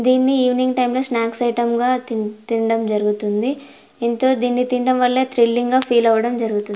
దీని evening time snacks item గ తిం తిండాం జరుగుతుంది ఎంతో దీని తినడం వళ్ళ థ్రిల్లింగ్ గ ఫీల్ అవడం జరుగుతుంది.